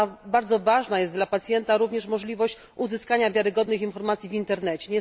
Bardzo ważna jest dla pacjenta również możliwość uzyskania wiarygodnych informacji w internecie.